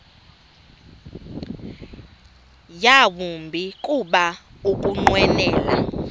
yawumbi kuba ukunqwenela